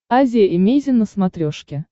азия эмейзин на смотрешке